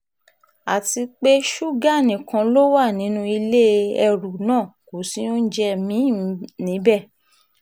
àti pé ṣúgà nìkan ló wà nínú ilé ẹrú náà kò sí oúnjẹ mi-ín níbẹ̀